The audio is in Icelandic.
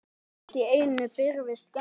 Allt í einu birtist Gerður.